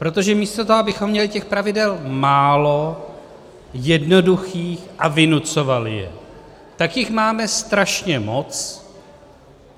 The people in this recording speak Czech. Protože místo toho, abychom měli těch pravidel málo, jednoduchých a vynucovali je, tak jich máme strašně moc.